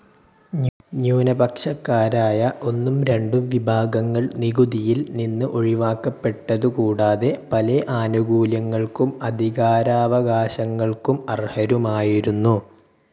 ന്യൂനപക്ഷക്കാരായ ഒന്നും രണ്ടും വിഭാഗങ്ങൾ നികുതിയിൽ നിന്ന് ഒഴി വാക്കപ്പെട്ടതു കൂടാതെ പലേ ആനുകൂല്യങ്ങൾക്കും അധികാരാവകാശങ്ങൾക്കും അർഹരുമായിരുന്നു.